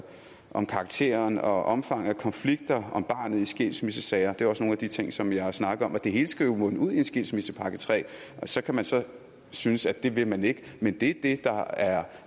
om karakteren og omfanget af konflikter om barnet i skilsmissesager det er også nogle af de ting som jeg har snakket om det hele skal jo munde ud i en skilsmissepakke tredje så kan man så synes at det vil man ikke men det